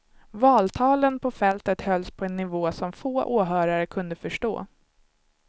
Valtalen på fältet hölls på en nivå som få åhörare kunde förstå.